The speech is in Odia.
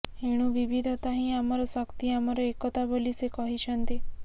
ଏଣୁ ବିବିଧତା ହିଁ ଆମର ଶକ୍ତି ଆମର ଏକତା ବୋଲି ସେ କହିଛନ୍ତି